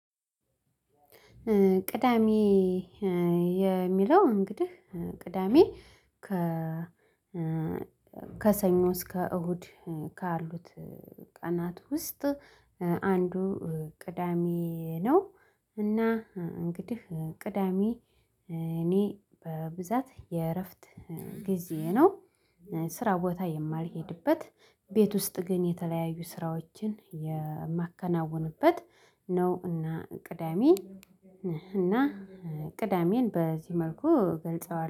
ቅዳሜ የሚለው እንግዲህ ቅዳሜ ከ ከሰኞ እስከ እሁድ ካሉት ቀናት ውስጥ አንዱ ቅዳሜ ነው። እና እንግዲህ ቅዳሜ እኔ በብዛት የእረፍት ጊዜ ነው። ስራ ቦታ የማልሄድበት ቤት ውስጥ ግን የተለያዩ ስራዎችን የማከናውንበት ነው። እና ቅዳሜ እና ቅዳሜን በዚህ መልኩ በልጸዋለሁ